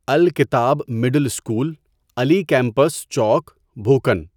الکتٰب middle school Ali campus چوک بھوکن